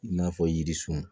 I n'a fɔ yirisun